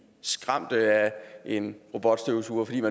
skræmt af en robotstøvsuger fordi